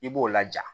I b'o laja